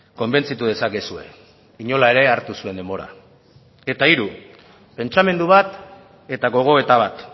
konbentzitu dezakezue inola ere hartu zuen denbora eta hiru pentsamendu bat eta gogoeta bat